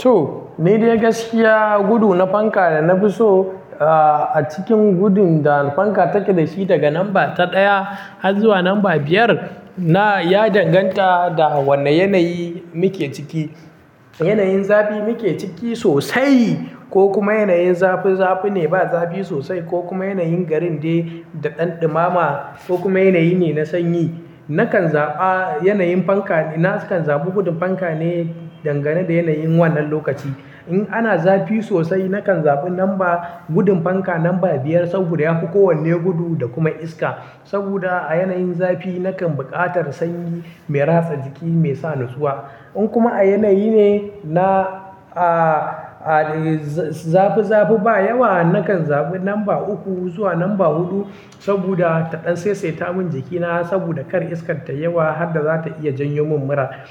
To, nidai gaskiya gudu na fanka da na fi so, ah, a cikin gudun da fanka take da shi daga lamba ta ɗaya har zuwa lamba biyar. Na ya danganta da wanne yanayi muke ciki. Yanayin zafi muke ciki sosai ko kuma yanayin zafi zafi ne ba zafi sosai ko kuma yanayin garin dai da ɗan ɗimama ko kuma yanayi ne na sanyi. Nakan za, ah, yanayin fanka nakan zaɓi gudun fanka ne dangane da yanayin wannan lokaci. In ana zafi sosai nakan zaɓi lamba gudun fanka lamba biyar saboda ya fi kowanne gudu da kuma iska. Saboda a yanayin zafi nakan buƙatar sanyi mai ratsa jiki mai sa natsuwa. In kuma a yanayi ne na, ah, ah, za-zafi zafi ba yawa nakan zaɓi lamba uku zuwa lamba huɗu saboda ta ɗan saisaita mun jikina saboda kar iskar ta yawa har da za ta iya janyo mun mura.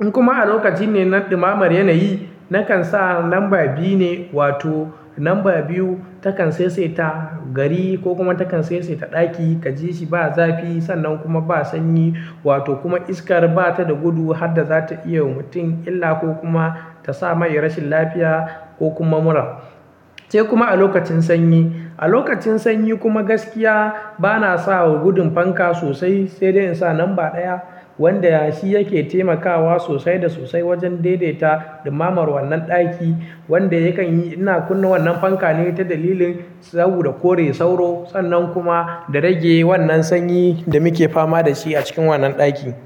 In kuma a lokaci ne na ɗimamar yanayi nakan sa lamba biyu ne wato lamba biyu takan saisaita gari ko kuma takan saisaita ɗaki ka ji shi ba zafi sannan kuma ba sanyi wato kuma iskar bata da gudu har da za ta iya wa mutum illa ko kuma ta sa mai rashin lafiya ko kuma mura. Sai kuma a lokacin sanyi. A lokacin sanyi kuma gaskiya bana sa wa gudun fanka sosai sai dai in sa lamba ɗaya wanda shi yake taimakawa sosai da sosai wajen daidaita ɗimamar wannan ɗaki wanda yakan yi ina kunna wannan fanka ne ta dalilin saboda kore sauro sannan kuma da rage wannan sanyi da muke fama da shi a cikin wannan ɗaki.